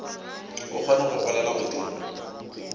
o kgone go golela godimo